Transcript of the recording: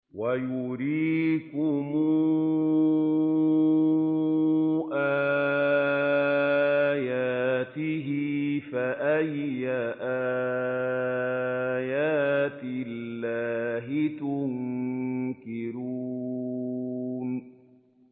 وَيُرِيكُمْ آيَاتِهِ فَأَيَّ آيَاتِ اللَّهِ تُنكِرُونَ